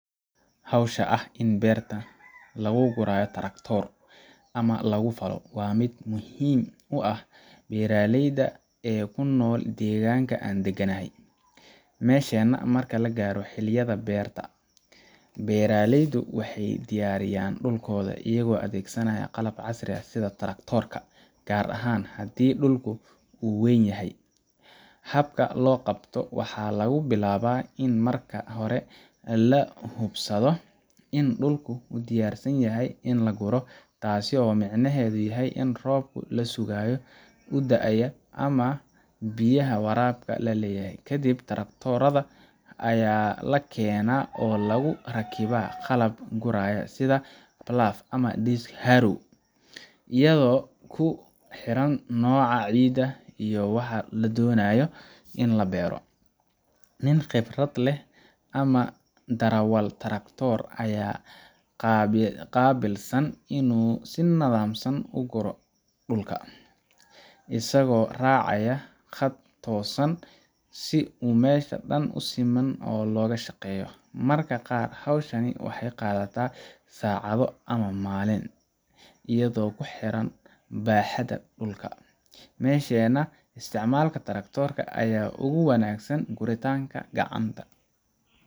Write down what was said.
Hawsha ah in beerta lagu gurayo taraktoor, ama lagu falo, waa mid muhiim u ah dadka beeraleyda ah ee ku nool deegaanka aan deganahay. Meesheenna, marka la gaaro xilliyada beerta, beeraleydu waxay diyaariyaan dhulkooda iyagoo adeegsanaya qalab casri ah sida taraktoorka, gaar ahaan haddii dhulku uu weyn yahay. Habka loo qabto waxaa lagu bilaabaa in marka hore la hubsado in dhulku u diyaarsan yahay in la guro taasoo micnaheedu yahay in roobkii la sugaayey uu da’ay ama biyaha waraabka la helay. Kadib, taraktoorka ayaa la keenaa oo lagu rakibaa qalab guraya, sida plough ama disc harrow, iyadoo ku xiran nooca ciidda iyo waxa la doonayo in la beero. Nin khibrad leh ama darawal taraktoor ayaa qaabilsan inuu si nidaamsan u guro dhulka, isagoo raacaya khad toosan si u meesha dhan si siman loogu shaqeeyo. Mararka qaar, hawshani waxay qaadataa saacado ama maalin, iyadoo ku xiran baaxadda dhulka. Meesheenna, isticmaalka taraktoorka ayaa aad uga wanaagsan guritaanka gacanta,